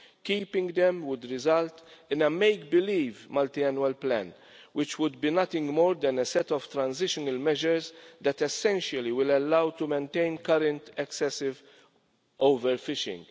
Keeping them would result in a make-believe multiannual plan, which would be nothing more than a set of transitional measures that essentially will allow to maintain current excessive overfishing.